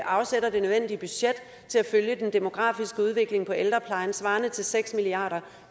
afsætter det nødvendige budget til at følge den demografiske udvikling til ældreplejen svarende til seks milliard